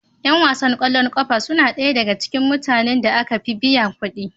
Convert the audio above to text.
Yan wasan ƙwallon ƙafa suna ɗaya daga cikin mutane da aka fi biyan kuɗi